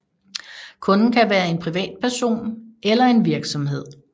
Kunden kan være en privatperson eller en virksomhed